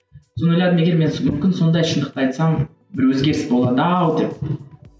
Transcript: соны ойладым егер мен мүмкін сондай шындықты айтсам бір өзгеріс болады ау деп